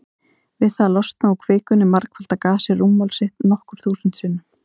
Við það að losna úr kvikunni margfaldar gasið rúmmál sitt nokkur þúsund sinnum.